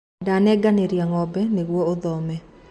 ndanengeranire ng'ombe nĩguo ũthome